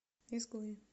изгои